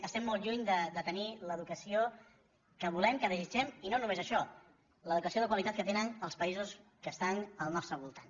estem molt lluny de tenir l’educació que volem que desitgem i no només això l’educació de qualitat que tenen els països que estan al nostre voltant